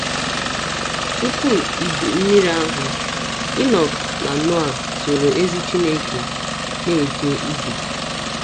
Tupu Iju Mmiri ahụ, Inọk na Noa “ soro ezi Chineke na - eje ije. ”